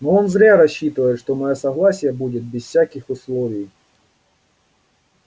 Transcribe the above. но он зря рассчитывает что моё согласие будет без всяких условий